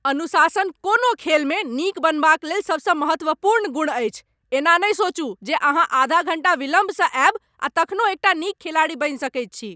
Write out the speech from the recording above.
अनुशासन कोनो खेलमे नीक बनबाक लेल सबसँ महत्वपूर्ण गुण अछि। एना नहि सोचू जे अहाँ आधा घण्टा विलम्बसँ आयब आ तखनो एकटा नीक खिलाड़ी बनि सकैत छी।